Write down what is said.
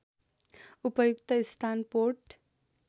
उपयुक्त स्थान पोर्ट